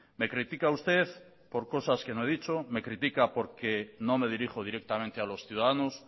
me critica usted por cosas que no he dicho me critica porque no me dirijo directamente a los ciudadanos